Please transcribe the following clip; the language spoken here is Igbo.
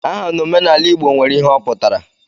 Aha n'omenala Igbo nwere ihe ọ pụtara.